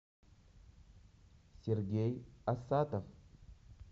сергей асадов